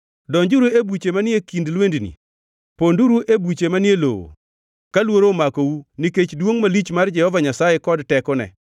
Donjuru e buche manie kind lwendni, ponduru e buche manie lowo ka luoro omakou nikech, duongʼ malich mar Jehova Nyasaye kod tekone!